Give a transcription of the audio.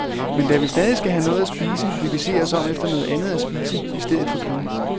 Men da vi stadig skal have noget at spise, vil vi se os om efter noget andet at spise i stedet for kød.